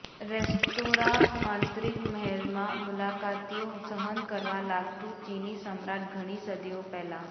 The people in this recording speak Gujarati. રેસ્ટોરાં આંતરિક મહેલમાં મુલાકાતીઓ સહન કરવા લાગતું ચિની સમ્રાટ ઘણી સદીઓ પહેલા